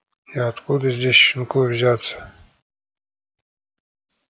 а откуда здесь щенку взяться